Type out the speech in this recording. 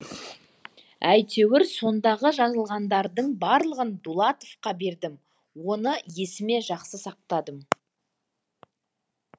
әйтеуір сондағы жазылғандардың барлығын дулатовқа бердім оны есіме жақсы сақтадым